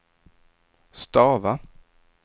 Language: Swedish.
stava